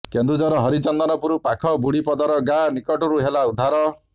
କେନ୍ଦୁଝର ହରିଚନ୍ଦନପୁର ପାଖ ବୁଢି ପଦର ଗାଁ ନିକଟରୁ ହେଲା ଉଦ୍ଧାର